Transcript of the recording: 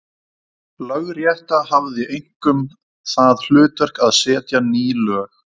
Lögrétta hafði einkum það hlutverk að setja ný lög.